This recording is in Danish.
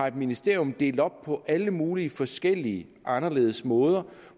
et ministerium delt op på alle mulige forskellige og anderledes måder